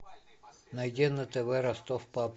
найди на тв ростов папа